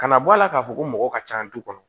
Kana bɔ ala k'a fɔ ko mɔgɔ ka ca du kɔnɔ